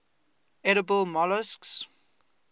edible molluscs